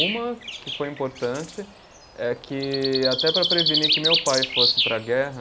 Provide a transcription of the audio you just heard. Uma que foi importante, eh que, até para prevenir que meu pai fosse para a guerra,